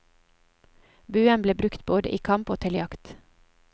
Buen ble brukt både i kamp og til jakt.